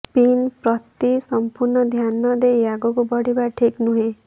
spin ପ୍ରତି ସମ୍ପୂର୍ଣ୍ଣ ଧ୍ୟାନ ଦେଇ ଆଗକୁ ବଢ଼ିବା ଠିକ୍ ନୁହେଁ